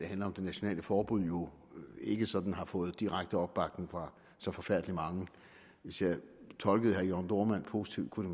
handler om det nationale forbud jo ikke sådan har fået direkte opbakning fra så forfærdelig mange hvis jeg tolkede herre jørn dohrmann positivt kunne